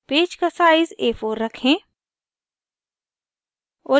page का size a4 रखें